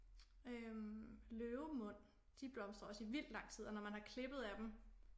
Øh løvemund de blomstrer også i vildt lang tid og når man har klippet af dem